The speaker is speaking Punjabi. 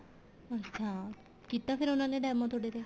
ਅੱਛਾ ਕੀਤਾ ਫ਼ੇਰ demo ਤੁਹਾਡੇ ਤੇ